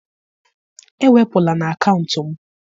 ewepụla na akaụntụ m!